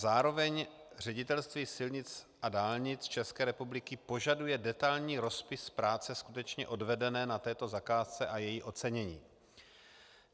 Zároveň Ředitelství silnic a dálnic České republiky požaduje detailní rozpis práce skutečně odvedené na této zakázce a její ocenění.